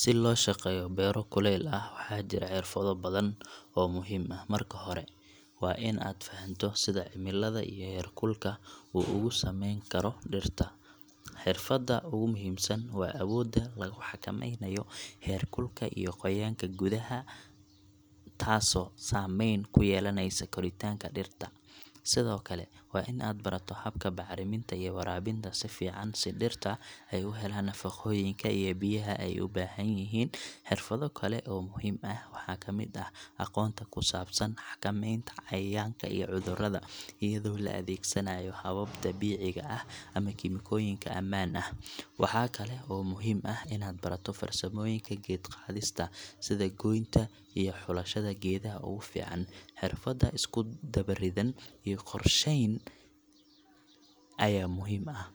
Si loo shaqeeyo beero kuleyl ah, waxaa jira xirfado badan oo muhiim ah. Marka hore, waa in aad fahanto sida cimilada iyo heer kulka uu ugu saameyn karo dhirta. Xirfadda ugu muhiimsan waa awoodda lagu xakameynayo heerkulka iyo qoyaanka gudaha , taasoo saameyn ku yeelanaysa koritaanka dhirta. Sidoo kale, waa in aad barato habka bacriminta iyo waraabinta si fiican, si dhirta ay u helaan nafaqooyinka iyo biyaha ay u baahan yihiin. Xirfado kale oo muhiim ah waxaa ka mid ah aqoonta ku saabsan xakameynta cayayaanka iyo cudurrada, iyadoo la adeegsanayo hababka dabiiciga ah ama kiimikooyinka ammaan ah. Waxaa kale oo muhiim ah inaad barato farsamooyinka geed-qaadista, sida goynta iyo xulashada geedaha ugu fiican. Xirfad isku dubaridan iyo qorshayn ayaa muhiim ah,